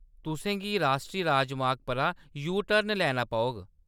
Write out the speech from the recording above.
तुसें गी राश्ट्री राजमार्ग परा यू-टर्न लैना पौग।